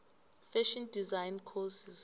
fashion design courses